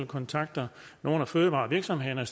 kontakter nogle af fødevarevirksomhederne og